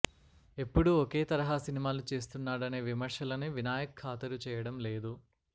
ఎప్పుడూ ఒకే తరహా సినిమాలు చేస్తున్నాడనే విమర్శలని వినాయక్ ఖాతరు చేయడం లేదు